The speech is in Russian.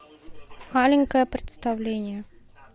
маленькое представление